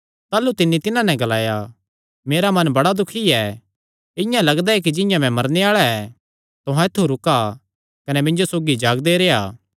ताह़लू तिन्नी तिन्हां नैं ग्लाया मेरा मन बड़ा दुखी ऐ इआं लगदा ऐ कि जिंआं मैं मरने आल़ा ऐ तुहां ऐत्थु रुका कने मिन्जो सौगी जागदे रेह्आ